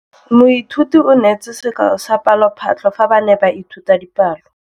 Moithuti o neetse sekaô sa palophatlo fa ba ne ba ithuta dipalo.